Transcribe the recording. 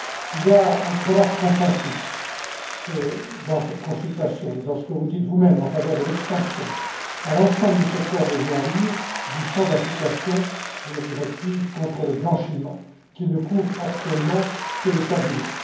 Il y a un très large consensus, dans cette consultation et dans ce que vous dites vous même, en faveur de l'extension, à l'ensemble du secteur des jeux en ligne, du champ d'application de la directive contre le blanchiment, qui ne couvre actuellement que les casinos.